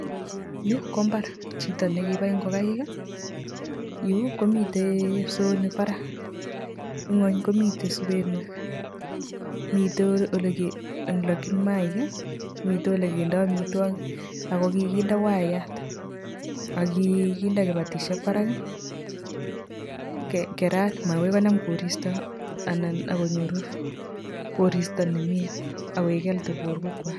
Yuu, ko mbar. Chito ne kibai ng'okaik. Yuu ko miteii kipsoonik barak. Ing'uny komitei subenwek. Mitei um ole lakchin mayaik, mitei ole kindoi amitwogik, akokikinde waiyat, Akikinde kibatishiek barak. Kerat, magoi konam koristo, anan akonyoru koristo ne mie. Akoek healthy borwek kwook.